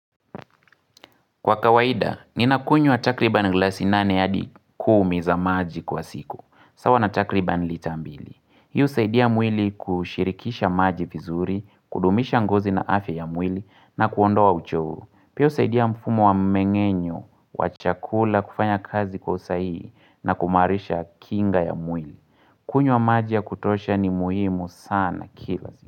Kwa kawaida, ninakunywa takribani glass nane hadi kumi za maji kwa siku. Sawa na takribani lita mbili. Hii husaidia mwili kushirikisha maji vizuri, kudumisha ngozi na afya ya mwili, na kuondoa uchovu. Pia husaidia mfumo wa mmeng'enyo, wa chakula, kufanya kazi kwa usahihi, na kuimarisha kinga ya mwili. Kunywa maji ya kutosha ni muhimu sana kila siku.